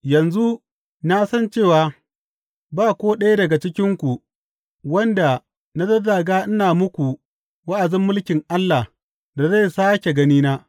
Yanzu na san cewa ba ko ɗaya daga cikinku wanda na zazzaga ina muku wa’azin mulkin Allah da zai sāke ganina.